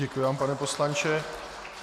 Děkuji vám pane poslanče.